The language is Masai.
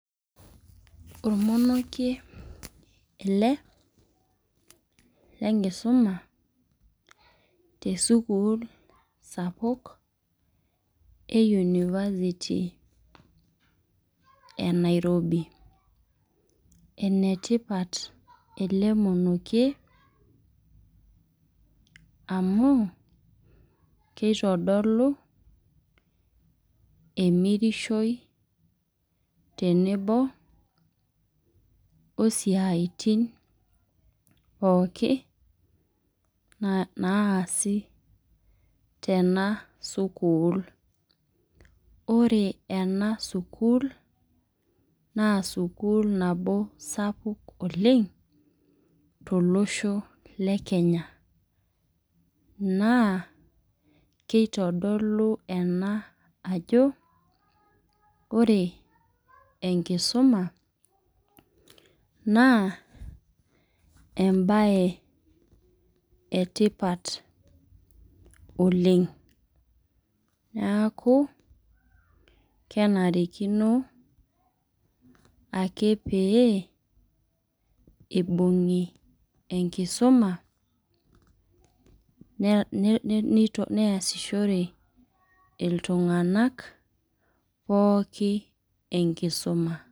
Ormonokie ele lenkisuma tesukuul sapuk, e University e Nairobi. Enetipat ele monokie, amu, kitodolu emirishoi tenebo osiaitin pookin naasi tena sukuul. Ore ena sukuul, naa sukuul nabo sapuk oleng, tolosho le Kenya. Naa, keitodolu ena ajo, ore enkisuma, naa ebae etipat oleng. Niaku, kenarikino ake pee ibung'i enkisuma, neasishore iltung'anak pooki enkisuma.